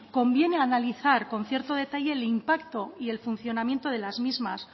conviene analizar con cierto detalle el impacto y el funcionamiento de las mismas